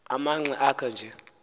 amanqe akho nje